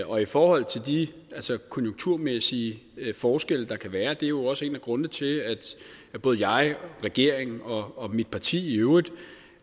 og i forhold til de konjunkturmæssige forskelle der kan være er det jo også en af grundene til at både jeg og regeringen og mit parti i øvrigt